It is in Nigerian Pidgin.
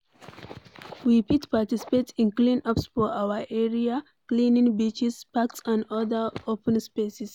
We fit participate in clean ups for our area; cleaning beaches, parks and oda open spaces